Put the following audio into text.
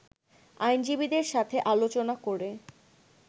আইনজীবীদের সাথে আলোচনা করে